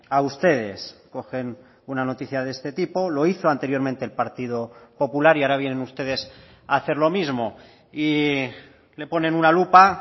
a ustedes cogen una noticia de este tipo lo hizo anteriormente el partido popular y ahora vienen ustedes a hacer lo mismo y le ponen una lupa